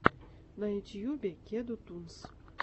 на ютьюбе кеду тунс